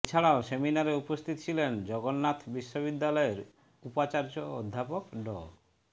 এছাড়াও সেমিনারে উপস্থিত ছিলেন জগন্নাথ বিশ্ববিদ্যালয়ের উপাচার্য অধ্যাপক ড